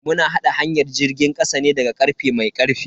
Mu na haɗa hanyar jirgin kasa ne daga karfe mai karfi.